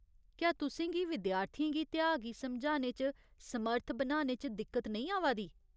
क्या तुसें गी विद्यार्थियें गी ध्याऽ गी समझाने च समर्थ बनाने च दिक्कत नेईं आवा दी ?